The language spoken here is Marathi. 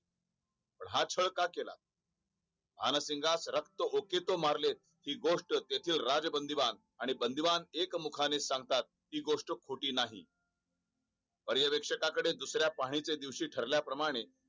छळ का केला ? आणि सिंगास रक्त ओके तो मारले ही गोष्ट त्यातील राज बंदी भाग आणि बंदिवान एकमुखा ने सांगतात ती गोष्ट खोटी नाही पर्यवेक्षकाकडे दुसर् या पाहणी च्या दिवशी ठरल्या प्रमाणे